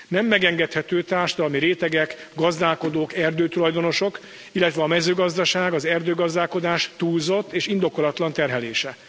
Nem engedhető meg a társadalmi rétegek, gazdálkodók, erdőtulajdonosok, illetve a mezőgazdaság, az erdőgazdálkodás túlzott és indokolatlan terhelése.